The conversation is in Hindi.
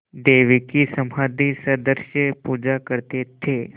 देवी की समाधिसदृश पूजा करते थे